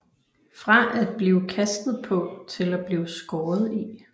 Fra at blive kastet på til at blive skåret i